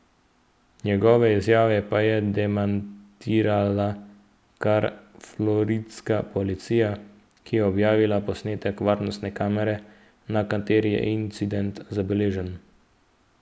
Njegove izjave pa je demantirala kar floridska policija, ki je objavila posnetek varnostne kamere, na kateri je incident zabeležen.